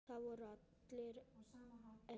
Það voru allir edrú.